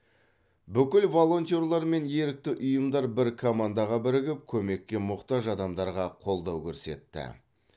бүкіл волонтер мен ерікті ұйымдар бір командаға бірігіп көмекке мұқтаж адамдарға қолдау көрсетті